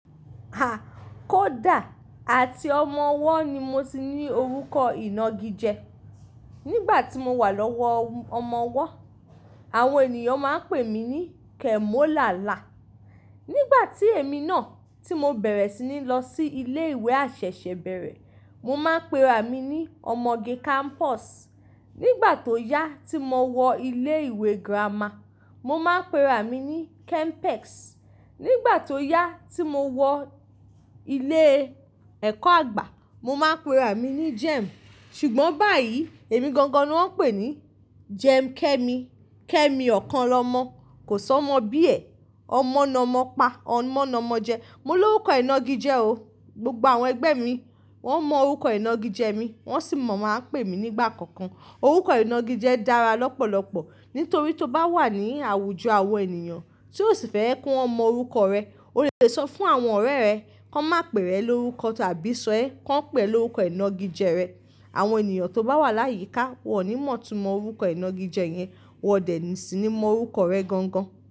A! Kódà àti ọmọ ọwọ́ ni mo ti ní orúkọ ìnagijẹ. Nígbà tí mo wà lọ́wọ́ ọmọ ọwọ́, àwọn ènìyàn máa ń pè mí ní Kẹ́mólálà. Nígbà tí èmi náà tí mo bẹ̀rẹ̀ sí ní lọ sí ilé ìwé àṣẹ̀ṣẹ̀bẹ̀rẹ̀, mo máa ń pe ra mi ní ọmọge kámpọ̀sì. Nígbà tó yá tí mo wọ ilé ìwé girama, mo máa ń pe ra mi ní kẹ́mpẹ́ẹ̀kì. Nígbà tó yá tí mo wọ ilé ẹ̀kọ́ àgbà, mo máa ń pe ra mi ní Jẹ́ẹ̀m̀. Ṣùgbọ́n báyìí, èmi gangan ni wọ́n ń pè ní Jẹ́ẹ̀m̀ Kẹ́mi. Kẹ́mi ọ̀kan lọ́mọ, kò sọ́mọ bíẹ̀, ọmọ nọmọ pa, ọmọ nọmọ jẹ. Mo ní orúkọ ìnagijẹ o. Gbogbo àwọn ẹgbẹ́ mi wọ́n mọ orúkọ ìnagijẹ mi, wọ́n sì mọ̀ máa ń pè mí nígbà kankan. Orúkọ ìnagijẹ dára lọ́pọ̀lọpọ̀ nítorí tó bá wà ní àwùjọ àwọn ènìyàn tí o sì fẹ́ kọ́ wọn mọ orúkọ rẹ, o lè sọ fún àwọn ọ̀rẹ́ rẹ kó máa pè rẹ lórúkọ ti àbí sọ ẹ́ kàn pẹ̀ lórúkọ ìnagijẹ rẹ. Àwọn ènìyàn tó bá wà láyíkà wọ́n ò ní mòò tú mọ orúkọ ìnagijẹ yẹn, wọn dẹ̀ sì ní mọ orúkọ rẹ gangan.